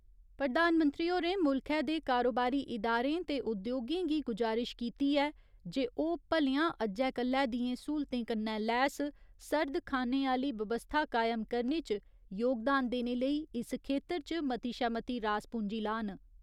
प्रधानमंत्री होरें मुल्खै दे कारोबारी इदारें ते उद्योगें गी गुजारिश कीती ऐ जे ओह् भलेआं अज्जै कल्लै दियें स्हूलतें कन्नै लैस सर्द खानें आह्‌ली बवस्था कायम करने च योगदान देने लेई इस खेत्तर च मती शा मती रास पूंजी लान।